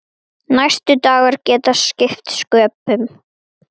Ég tel svo ekki vera.